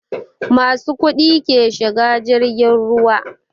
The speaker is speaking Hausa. Masu kuɗi ke shiga jirgin ruwa